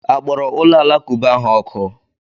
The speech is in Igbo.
A kpọrọ ụlọ alakụba ha ọkụ?